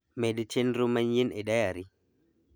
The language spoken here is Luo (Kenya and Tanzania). Med chenro manyien e dayari